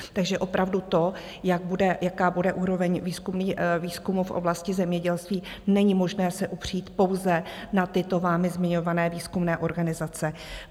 Takže opravdu to, jaká bude úroveň výzkumu v oblasti zemědělství, není možné se upřít pouze na tyto vámi zmiňované výzkumné organizace.